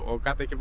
gat ekki